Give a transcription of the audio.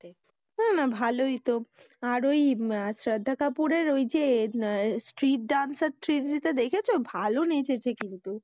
না না ভালোই তো, আর ওই শ্রদ্ধা কাপুরের ঐযে street dancer three টা দেখেছো? ভালো নেচেছে কিন্তু।